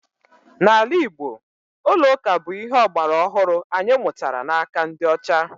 N'ala Igbo, ụlọ ụka bụ ihe ọgbara ọhụrụ anyị mụtara n'aka ndị ọcha